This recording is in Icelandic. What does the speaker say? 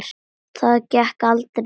Það gekk aldrei til baka.